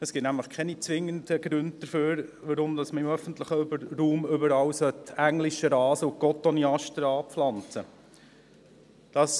Es gibt nämlich keine zwingenden Gründe dafür, warum wir überall im öffentlichen Raum englischen Rasen und Cotoneaster anpflanzen sollten.